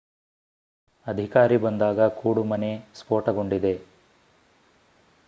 ಅಧಿಕಾರಿ ಬಂದಾಗ ಕೂಡುಮನೆ ಸ್ಫೋಟಗೊಂಡಿದೆ